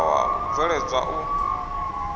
u faṱwa u bveledzwa u